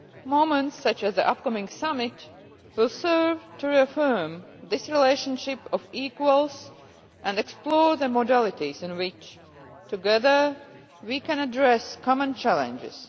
Moments such as the upcoming summit will serve to reaffirm this relationship of equals and explore the modalities in which, together, we can address common challenges.